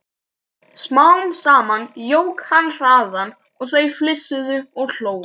Smám saman jók hann hraðann og þau flissuðu og hlógu.